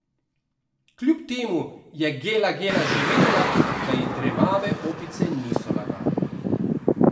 Kjub temu je Gela Gela že vedela, da ji dremave opice niso lagale.